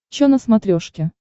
чо на смотрешке